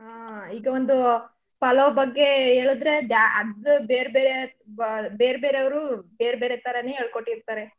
ಹಾ ಈಗ ಒಂದು ಪಲಾವ್ ಬಗ್ಗೆ ಹೇಳುದ್ರೆ ಅದ್ದು ಬೇರ್ಬೆರೆ ಬಾ~ ಬೇರ್ಬೆರೆ ಅವ್ರು ಬೇರ್ಬೆರೆ ತರಾನೇ ಹೇಳ್ಕೊಟ್ಟಿರ್ತಾರೆ.